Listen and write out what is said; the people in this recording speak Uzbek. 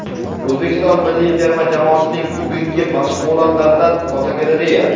O‘zbekiston milliy terma jamoasining bugungi mashg‘ulotlaridan fotogalereya.